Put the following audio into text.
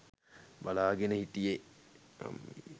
බලාගෙන හිටියේ